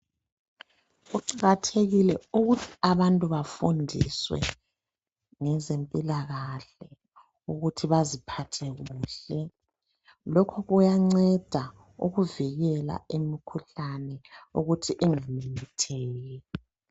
Kuqakathekile ukuthi abantu bafundiswe ngezempilakahle ukuthi baziphathe kuhle. Lokhu kuyanceda ukuvikela imkhuhlane ukuthi ingamemetheki.